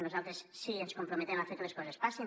nosaltres sí que ens comprometem a fer que les coses passin